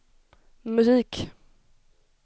musik